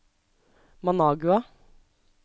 Managua